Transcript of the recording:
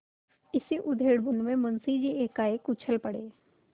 इसी उधेड़बुन में मुंशी जी एकाएक उछल पड़े